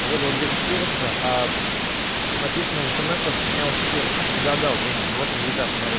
выдал две четыреста аа написано в смс то что снял четыре то есть недодал деньги вот результат смотри